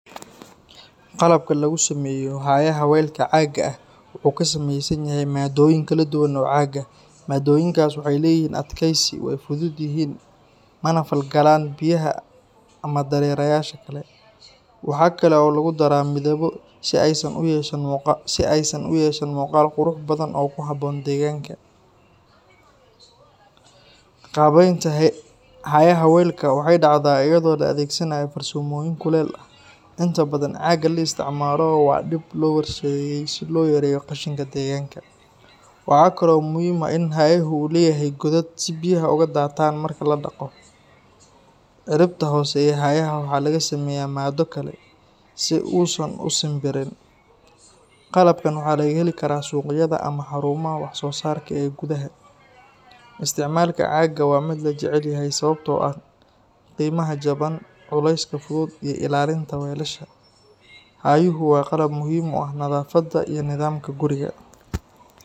qalabka lagu sameyo haayaha welka caaga ah waxuu kasameysan yahay maadoyin kala kala dhuwan oo caaga ah maadoyinkaas waxay leyihiin adkeysi way fudud yihiin mana fal galaan biyaha ama dareerayasha kale waxaa kale oo lagu dharaa midabo si aysan uyeeshan muuqo si aysan uyeshan muqaal quruc badan oo kuhaboon dheeganka qabeynta hayada weelka waxay dhacdaa iyadoo la adegsanayo farsamadooyin kuleel ah inta badan caaga la isticmaalo waa dhib loo horseedo si loo yareyo qashinka dheeganka waxaa kale oo muhim ah in haayahu leyahay godad si biyaha ooga dhaataan marki ladhaqo ciribta hoose ayaa waxaa laga sameyaa maado kale sii usan u simbirin qalabkan waxaa laga heli suqyada ama xaruumah wax soosaarka ee gudaha isticmaalka caaga waa mid lajeceyahay sababtoo ah qiimaha jaban culeyska fudud iyo ilalinta weelasha cagyuhu waa qalab muhim u ah nadaafadu iyi nidamka guriga.